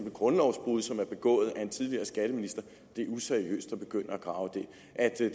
et grundlovsbrud som er begået af en tidligere skatteminister at det er useriøst at grave